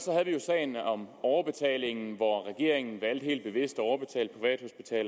vi jo sagen om overbetaling hvor regeringen valgte helt bevidst